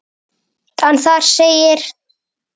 en þar segir